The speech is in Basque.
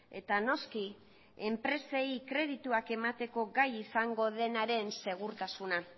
eta noski enpresei kredituak emateko gai izango denaren segurtasuna